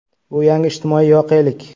Bu yangi ijtimoiy voqelik.